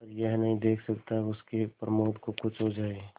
पर यह नहीं देख सकता कि उसके प्रमोद को कुछ हो जाए